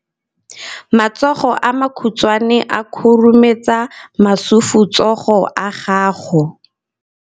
Matsogo a makhutshwane a khurumetsa masufutsogo a gago.